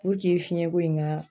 fiɲɛ ko in ka